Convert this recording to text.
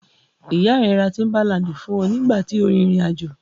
Ìyá rẹ ra tíḿbálaǹdì fún ọ nígbà tí o rin ìrìn-àjò.